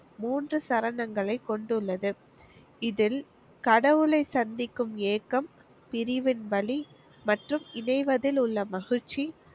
மூன்று சரணங்களை கொண்டுள்ளது. இதில் கடவுளை சந்திக்கும் ஏக்கம், பிரிவின் வலி மற்றும் இணைவதிலுள்ள மகிழ்ச்சி.